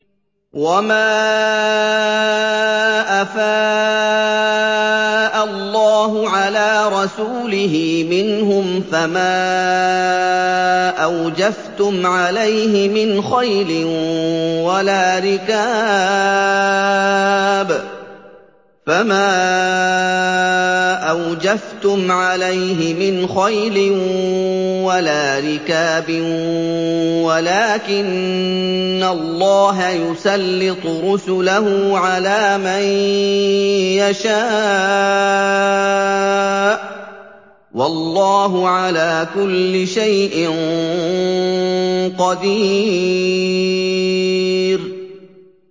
وَمَا أَفَاءَ اللَّهُ عَلَىٰ رَسُولِهِ مِنْهُمْ فَمَا أَوْجَفْتُمْ عَلَيْهِ مِنْ خَيْلٍ وَلَا رِكَابٍ وَلَٰكِنَّ اللَّهَ يُسَلِّطُ رُسُلَهُ عَلَىٰ مَن يَشَاءُ ۚ وَاللَّهُ عَلَىٰ كُلِّ شَيْءٍ قَدِيرٌ